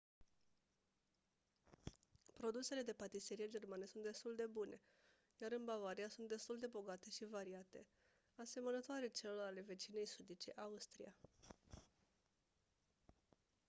produsele de patiserie germane sunt destul de bune iar în bavaria sunt destul de bogate și variate asemănătoare celor ale vecinei sudice austria